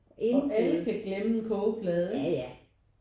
Og alle kan glemme en kogeplade